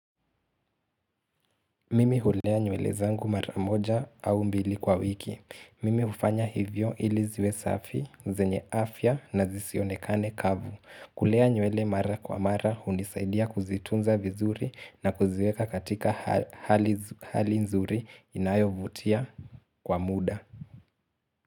Mimi hulea nywele zangu maramoja au mbili kwa wiki. Mimi hufanya hivyo ili ziwe safi, zenye afya na zisionekane kavu. Kulea nywele mara kwa mara hunisaidia kuzitunza vizuri na kuziweka katika hali nzuri inayo vutia kwa muda.